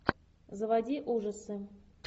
заводи ужасы